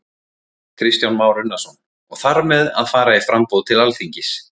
Kristján Már Unnarsson: Og þar með að fara í framboð til Alþingis?